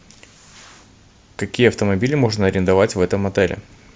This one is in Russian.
какие автомобили можно арендовать в этом отеле